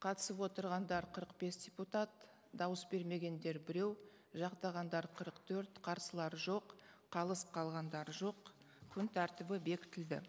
қатысып отырғандар қырық бес депутат дауыс бермегендер біреу жақтағандар қырық төрт қарсылар жоқ қалыс қалғандар жоқ күн тәртібі бекітілді